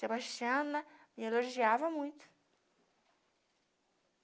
Sebastiana me elogiava muito.